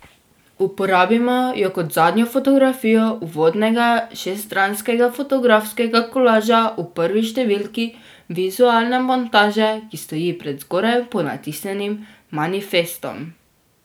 Uporabimo jo kot zadnjo fotografijo uvodnega šeststranskega fotografskega kolaža v prvi številki, vizualne montaže, ki stoji pred zgoraj ponatisnjenim manifestom.